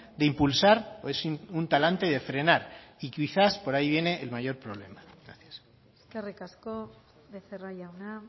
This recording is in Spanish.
de impulsar o es un talante de frenar y quizás por ahí viene el mayor problema gracias eskerrik asko becerra jauna